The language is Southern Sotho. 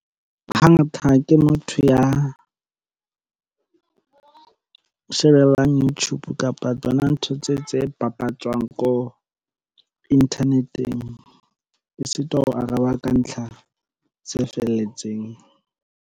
Hangata ke motho ya o shebellang YouTube kapa tsona ntho tse tse bapatswang ko inthaneteng e sitwa ho araba ka ntlha tse felletseng.